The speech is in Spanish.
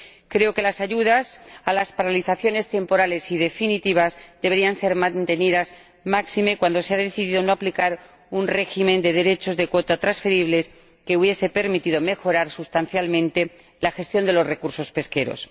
Creo que las ayudas a las paralizaciones temporales y definitivas deberían mantenerse, máxime cuando se ha decidido no aplicar un régimen de derechos de cuota transferibles, que habría permitido mejorar sustancialmente la gestión de los recursos pesqueros.